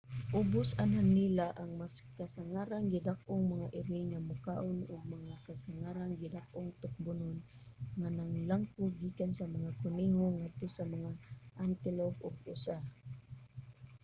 ubos ana nila ang mas kasangarang gidak-ong mga iring nga mokaon og mga kasangarang gidak-ong tukbonon nga naglangkob gikan sa mga kuneho ngadto sa mga antelope ug usa